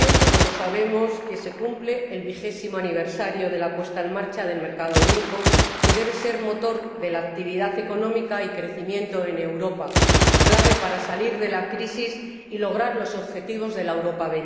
Todos sabemos que este año se cumple el vigésimo aniversario de la puesta en marcha del mercado único, que debe ser motor de la actividad económica y del crecimiento en Europa, clave para salir de la crisis y lograr los objetivos de la Europa